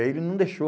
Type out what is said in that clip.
Aí ele não deixou.